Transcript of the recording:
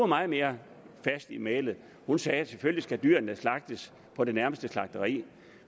meget mere fast i mælet hun sagde selvfølgelig skal dyrene slagtes på det nærmeste slagteri